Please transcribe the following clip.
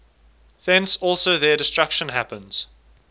thence also their destruction happens